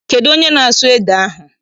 Kedụ onye na-asụ ede ahụ?